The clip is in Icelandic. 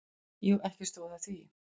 Jú, ekki stóð á því.